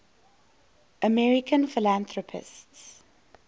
american philanthropists